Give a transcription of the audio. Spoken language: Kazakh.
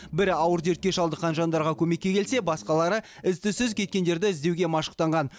бірі ауыр дертке шалдыққан жандарға көмекке келсе басқалары із түзсіз кеткендерді іздеуге машықтанған